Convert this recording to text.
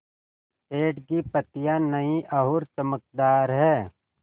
पेड़ की पतियां नई और चमकदार हैँ